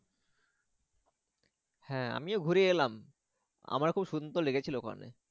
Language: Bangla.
হ্যাঁ আমিও ঘুরে এলাম আমারও খুব সুন্দর লেগেছিলো ওখানে।